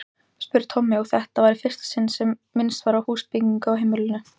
spurði Tommi, og þetta var í fyrsta sinn sem minnst var á húsbyggingu á heimilinu.